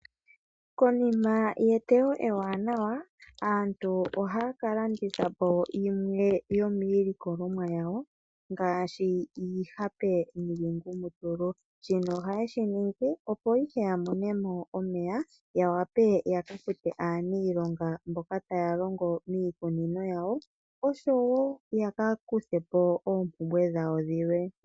Konima yeteyo ewanawa aantu ohaya kalanditha po yimwe yomiilikolomwa yawo ngaashi, iihape niingumutulu, shino ohaye shiningi opo ihe yamonemo omeya yawape yakafute aaniilonga mboka taya longo miikunino yawo osho wo yakakuthe po oompumbwe dhawo dhilwe.